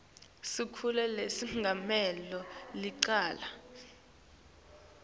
sikhulu lesengamele licala